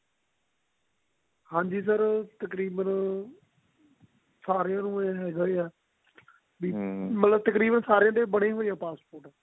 ਹਾਂਜੀ sir ਉਹ ਤਕਰੀਬਨ ਸਾਰਿਆਂ ਨੂੰ ਇਹ ਹੈਗਾ ਹੀ ਆ passport ਤਕਰੀਬਨ ਸਾਰਿਆਂ ਦੇ ਬਣੀ ਹੋਈ ਆ passport